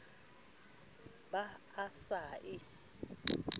ba ha a se a